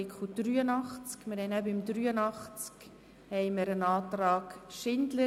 Ich strukturiere: Es liegt einerseits vor der Rückweisungsantrag Grüne zu Artikel 83.